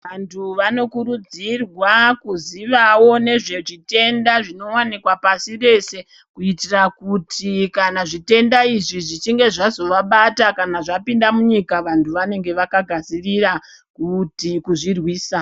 Vvanthu vanokurudzirwa kuziyawo ngezvezvitenda zvinowanikwa pashi reshe kuitira kuti kana zvitenda izvi kana zvichinge zvazovabata kana zvapinda munyika vanthu vanenge vakagadzirira kuzozvirwisa kuzvirwisa.